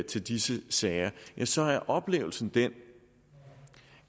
til disse sager ja så er oplevelsen den